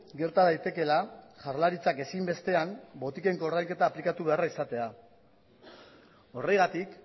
gerta daitekeela jaurlaritzak ezinbestean botiken koordainketa aplikatu beharra izatea horregatik